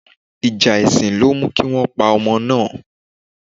Ìjà èsìn ló mú kí wọ́n pa ọmọ náà